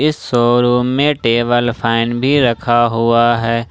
इस शोरूम में table fan भी रखा हुआ है।